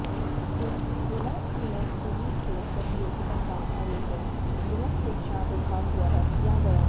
इस जि़ला स्तरीय स्कूली खेल प्रतियोगिता का आयोजन जि़ला शिक्षा विभाग द्वारा किया गया